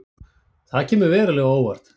Það kemur verulega á óvart